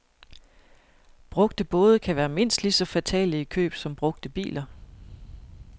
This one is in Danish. Brugte både kan være mindst lige så fatale i køb som brugte biler.